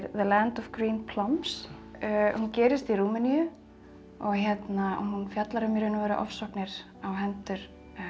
Land of Green Plums hún gerist í Rúmeníu hún fjallar um í raun og veru ofsóknir á hendur